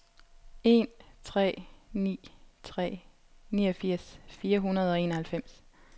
en tre ni tre niogfirs fire hundrede og enoghalvfems